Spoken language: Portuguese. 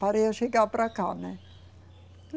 Para eu chegar para cá, né?